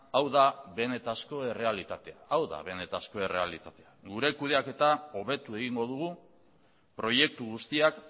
hau da benetako errealitatea gure kudeaketa hobetu egingo dugu proiektu guztiak